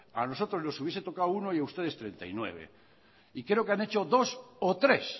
a nosotros nos hubiese tocado uno y a ustedes treinta y nueve y creo que han hecho dos o tres